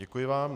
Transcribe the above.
Děkuji vám.